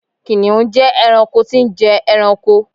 kìnìún je ẹranko tí n je ẹranko